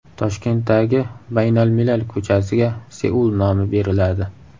Toshkentdagi Baynalmilal ko‘chasiga Seul nomi beriladi.